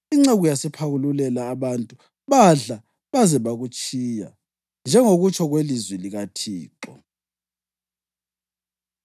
Inceku yasiphakululela abantu, badla baze bakutshiya, njengokutsho kwelizwi likaThixo.